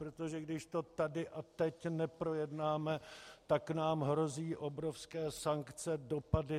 Protože když to tady a teď neprojednáme, tak nám hrozí obrovské sankce, dopady.